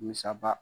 Musaba